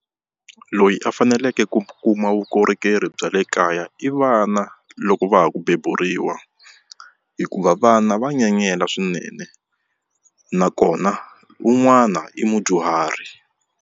Loyi a faneleke ku kuma vukorhokeri bya le kaya i vana loko va ha ku beburiwa hikuva vana va nyenyela swinene nakona un'wana i mudyuhari.